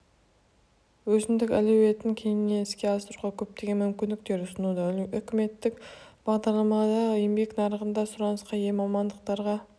өзіндік әлеуетін кеңінен іске асыруға көптеген мүмкіндіктер ұсынуда үкіметтік бағдарламаларда еңбек нарығында сұранысқа ие мамандықтарға